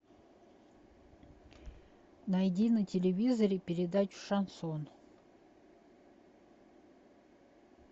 найди на телевизоре передачу шансон